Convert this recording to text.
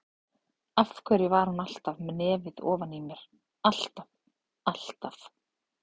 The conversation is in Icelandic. Af hverju var hún alltaf með nefið ofan í mér, alltaf, alltaf.